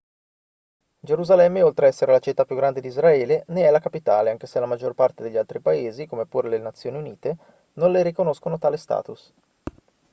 gerusalemme oltre a essere la città più grande di israele ne è la capitale anche se la maggior parte degli altri paesi come pure le nazioni unite non le riconoscono tale status